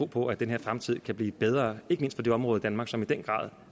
på at den her fremtid kan blive bedre ikke mindst i de områder af danmark som i den grad